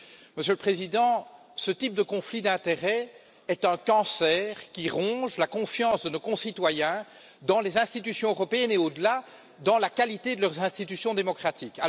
Monsieur le Président, ce type de conflit d'intérêts est un cancer qui ronge la confiance de nos concitoyens dans les institutions européennes et, au delà, dans la qualité de leurs institutions démocratiques.